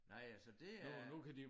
Nej øh så det er